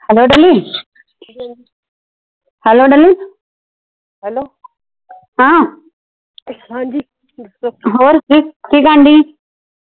hello Dolly, hello Dolly ਹਾਂ ਹੋਰ ਠੀਕ ਕੀ ਕਰਨ ਦੀ ਆ